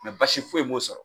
basi foyi m'o sɔrɔ